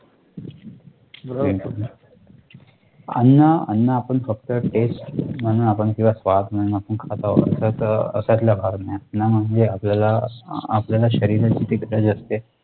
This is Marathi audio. बिलकुल बिलकुल अन्न अन्न आपण फक्त taste म्हणू आपण किंवा स्वाद म्हणून आपण खात आहोत त त अश्यातला भाग नाही अण्णा म्हणजे आपल्याला अह आपल्याला शरीराची